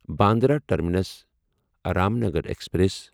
Bandra terminus Ramnagar express